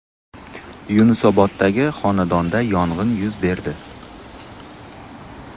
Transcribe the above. Yunusoboddagi xonadonda yong‘in yuz berdi.